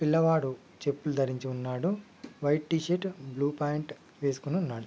పిల్లవాడు చెప్పులు ధరించి ఉన్నాడు వైట్ టీ-షర్ట్ బ్లూ పాంట్ వేసుకుని ఉన్నాడు.